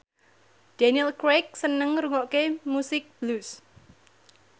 Daniel Craig seneng ngrungokne musik blues